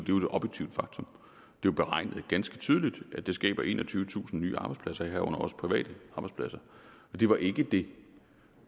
jo et objektivt faktum det er beregnet ganske tydeligt at det skaber enogtyvetusind nye arbejdspladser herunder også private arbejdspladser det var ikke det